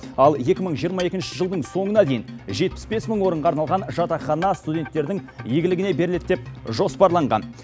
ал екі мың жиырма екінші жылдың соңына дейін жетпіс бес мың орынға арналған жатақхана студенттердің игілігіне беріледі деп жоспарланған